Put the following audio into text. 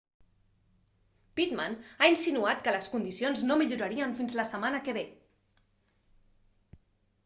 pittman ha insinuat que les condicions no millorarien fins la setmana que ve